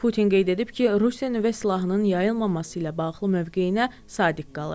Putin qeyd edib ki, Rusiya nüvə silahının yayılmaması ilə bağlı mövqeyinə sadiq qalır.